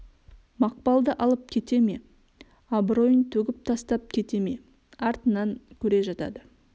мақпалды алып кете ме абыройын төгіп тастап кете ме артынан көре жатады